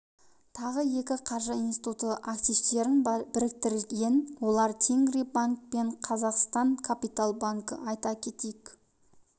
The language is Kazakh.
тағы екі қаржы институты активтерін біріктірген олар тенгри банк пен қазақстан капитал банкі айта кетейік